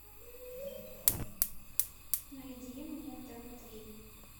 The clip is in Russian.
найди мне тв три